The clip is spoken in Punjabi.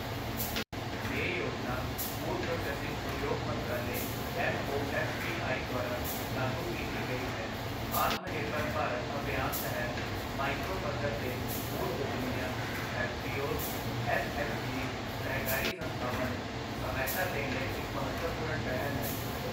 ਇਹ ਯੋਜਨਾ ਫੂਡ ਪ੍ਰੋਸੈਸਿੰਗ ਉਦਯੋਗ ਮੰਤਰਾਲੇ ਐੱਮਓਐੱਫਪੀਆਈ ਦੁਆਰਾ ਲਾਗੂ ਕੀਤੀ ਗਈ ਹੈ, ਆਤਮਨਿਰਭਰ ਭਾਰਤ ਅਭਿਆਨ ਤਹਿਤ ਮਾਈਕਰੋ ਪੱਧਰ ਦੇ ਫੂਡ ਉੱਦਮੀਆਂ, ਐੱਫਪੀਓਸ ਐੱਸਐੱਚਜੀਸ ਸਹਿਕਾਰੀ ਸੰਸਥਾਵਾਂ ਨੂੰ ਸਹਾਇਤਾ ਦੇਣ ਲਈ ਇੱਕ ਮਹੱਤਵਪੂਰਣ ਪਹਿਲ ਹੈ।